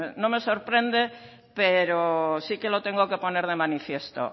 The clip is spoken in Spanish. no me sorprende pero sí que lo tengo que poner de manifiesto